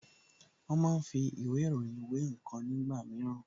Wón máa ń fi ìwé ìròyìn wé ǹkan nígbà mìíràn